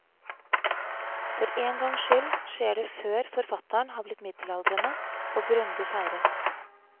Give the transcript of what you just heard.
For en gangs skyld skjer det før forfatteren har blitt middelaldrende og grundig feiret.